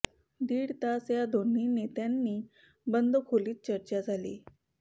दीड तास या दोन्ही नेत्यांनी बंद खोलीत चर्चा झाली